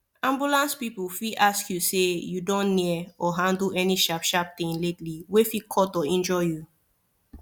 ambulance people fit ask you say you don near or handle any sharp sharp thing lately wey fit cut or injure you